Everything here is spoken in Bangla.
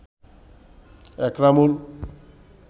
একরামুল